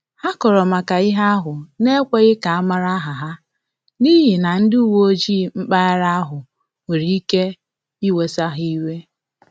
Ha kọrọ maka ihe ahụ n’ekweghi ka amala aha ha, n’ihi egwu na ndị uweojii mpaghara ahu nwere ike iwesa ha iwe